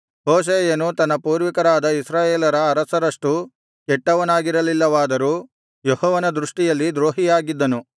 ಹೋಶೇಯನು ತನ್ನ ಪೂರ್ವಿಕರಾದ ಇಸ್ರಾಯೇಲರ ಅರಸರಷ್ಟು ಕೆಟ್ಟವನಾಗಿರಲಿಲ್ಲವಾದರೂ ಯೆಹೋವನ ದೃಷ್ಟಿಯಲ್ಲಿ ದ್ರೋಹಿಯಾಗಿದ್ದನು